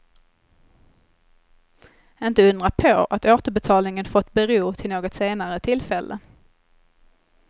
Inte undra på att återbetalningen fått bero till något senare tillfälle.